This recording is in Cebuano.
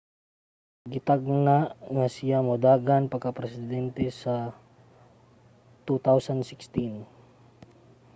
gitagna nga siya modagan pagkapresidente sa 2016